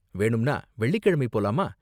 வேணும்னா வெள்ளிக்கிழமை போலாமா?